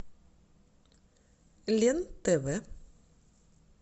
лен тв